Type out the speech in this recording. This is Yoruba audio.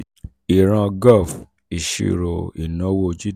ìran. gov. ìṣirò ìnáwó/gdp:"